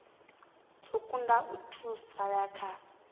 dzo kunda u thasululea kha